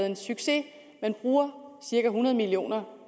en succes man bruger cirka hundrede million